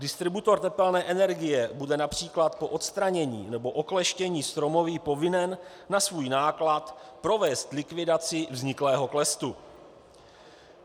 Distributor tepelné energie bude například po odstranění nebo okleštění stromoví povinen na svůj náklad provést likvidaci vzniklého klestu.